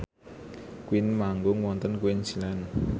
Queen manggung wonten Queensland